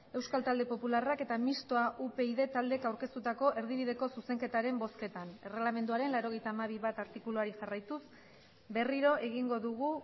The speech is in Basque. euskal talde popularrak eta mistoa upyd taldeek aurkeztutako erdibideko zuzenketaren bozketan erregelamenduaren laurogeita hamabi puntu bat artikuluari jarraituz berriro egingo dugu